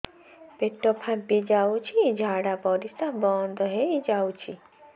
ପେଟ ଫାମ୍ପି ଯାଉଛି ଝାଡା ପରିଶ୍ରା ବନ୍ଦ ହେଇ ଯାଉଛି